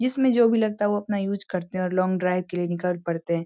जिसमे जो भी लगता वो अपना यूज़ करते है और लोंग ड्राइव के लिए निकल पड़ते।